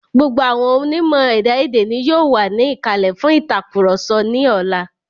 Gbogbo àwọn onímọ̀ ẹ̀dá èdè ni yóò wà ní ìkàlẹ̀ fún ìtàkurọ̀sọ ní ọlá.